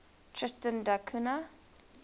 tristan da cunha